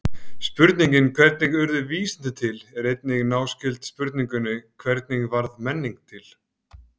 Spurningin hvernig urðu vísindi til er einnig náskyld spurningunni hvernig varð menningin til?